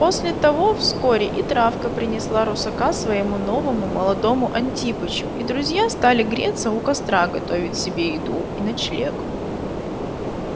после того вскоре и травка принесла русака своему новому молодому антипычу и друзья стали греться у костра готовить себе еду и ночлег